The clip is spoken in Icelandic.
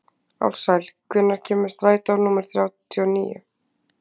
Ársæl, hvenær kemur strætó númer þrjátíu og níu?